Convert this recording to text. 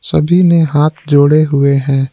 सभी ने हाथ जोड़े हुए हैं।